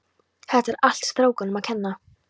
Þetta er allt strákunum að kenna.